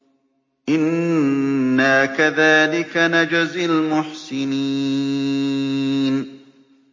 إِنَّا كَذَٰلِكَ نَجْزِي الْمُحْسِنِينَ